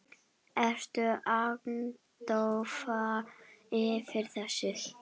Ertu agndofa yfir þessu?